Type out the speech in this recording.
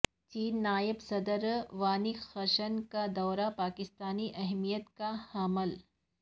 چینی نائب صدر وانگ قشان کا دورہ پاکستان اہمیت کا حامل